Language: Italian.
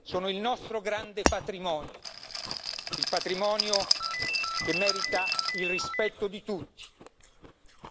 Sono il nostro grande patrimonio, un patrimonio che merita il rispetto di tutti.